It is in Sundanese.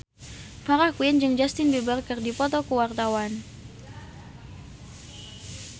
Farah Quinn jeung Justin Beiber keur dipoto ku wartawan